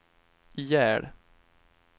ihjäl